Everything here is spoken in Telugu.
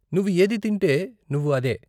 నువ్వు ఏది తింటే, నువ్వు అదే.